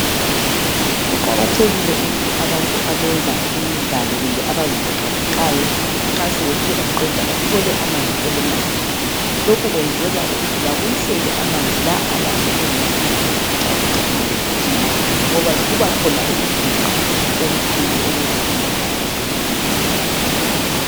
Kuqakathekile ukuthi abenza imidlalo kumbe abazivoxavoxayo nxa sebethe baqeda bathole amanzi okunatha. Lokhu kwenzelwa ukuthi babuyisele amanzi la alahleke ngesikhathi bezivoxavoxa kumbe begijima ngoba kubakhona ukuginqa okukhulu okwenza amanzi alahleke emzimbeni.